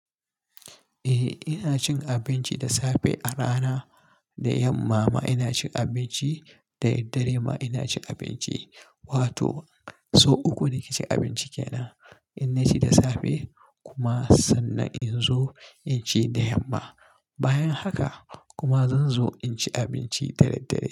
Eh ina cin abinci da safe a rana, da yamma ma ina cin abinci, da daddare ma ina cin abinci. Wato sau uku nake cin abinci kenan. Inna ci da safe kuma sannan in zo in ci da yamma. Bayan haka kuma zan zo in ci abinci da daddare.